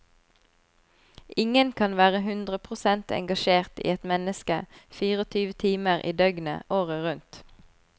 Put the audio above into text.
Ingen kan være hundre prosent engasjert i ett menneske fireogtyve timer i døgnet året rundt.